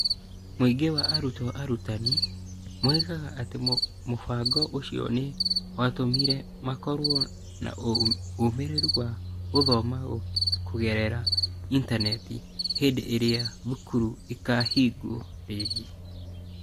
Mũingĩ wa arutwo arutani (gĩcunjĩ kĩa mĩrongo-ĩtandatũ na ithathatũ harĩ igana) moigaga atĩ mũbango ũcio nĩ watũmire makorũo na ũmĩrĩru wa gũthoma kũgerera intaneti hĩndĩ ĩrĩa thukuru ikahingwo rĩngĩ.